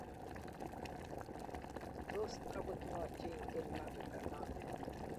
Tos akot ng'o cheingen Mange Kamambi?